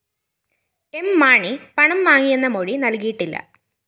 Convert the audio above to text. M Mani പണം വാങ്ങിയെന്ന മൊഴി നല്‍കിയിട്ടില്ല